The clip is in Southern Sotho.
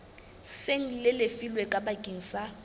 seng le lefilwe bakeng sa